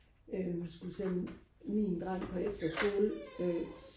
øh skulle sende min dreng på efterskole øh